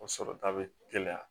O sɔrɔta bɛ gɛlɛya